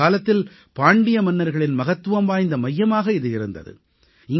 ஒருகாலத்தில் பாண்டிய மன்னர்களின் மகத்துவம் வாய்ந்த மையமாக இது இருந்தது